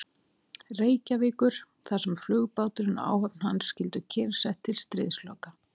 Reykjavíkur, þar sem flugbáturinn og áhöfn hans skyldu kyrrsett til stríðsloka.